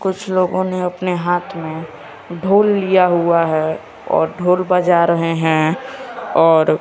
कुछ लोगों ने अपने हाथ में ढोल लिया हुआ है और ढोल बजा रहे हैं और--